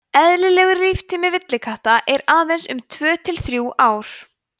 eðlilegur líftími villikatta er aðeins um tvö til þrjú ár